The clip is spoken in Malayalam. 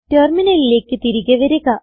ടെർമിനലിലേക്ക് തിരികെ വരിക